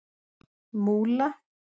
Múla